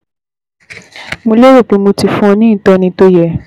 Mo lérò pé mo ti fún ọ ní ìtọ́ni tó yẹ